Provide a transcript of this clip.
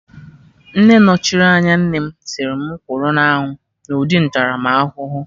Nne nọchiri anya nnem sịrị mụ kwụrụ na anwụ na ụdị ntaramahụhụ